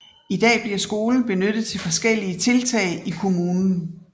I dag bliver skolen benyttet til forskellige tiltag i kommunen